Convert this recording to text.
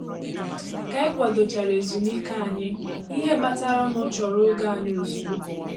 ka ànyị kwado chara ezùmíkè ànyị, ìhè batara nụ chọrọ ògè ànyị ozugbo.